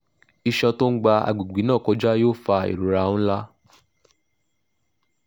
isan to n gba agbegbe na koja yoo fa irora nlà